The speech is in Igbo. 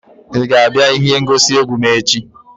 Ị ga-abịa ihe ngosi egwu m echi?